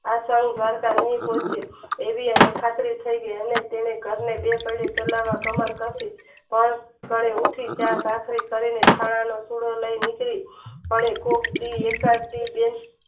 આ સાલે દ્વારકા લાય જાસુ એવી એને ખાતરી છે અને તેને ઘર બે પયડે ચાલવા મહેનત કરશુ કાળે ઉઠી ચા ભાખરી કરી છાણા નો પૂડો લય નીકળી અને કોક દી એકાદ દી બે